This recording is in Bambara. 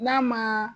N'a ma